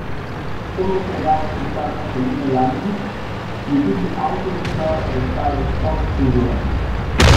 To mesto je danes pisarna Helene Janežič, ki je tudi avtorica razstave Stop, cenzura!